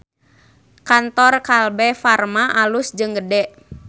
Kantor Kalbe Farma alus jeung gede